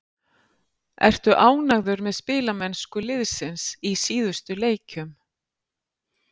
Ertu ánægður með spilamennsku liðsins í síðustu leikjum?